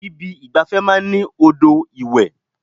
Ibi ìgbafẹ́ máa ń ní odò ìwẹ̀.